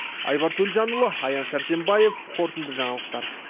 айбар төлжанұлы аян сәрсенбаев қорытынды жаңалықтар